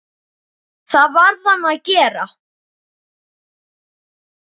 Það varð hann að gera.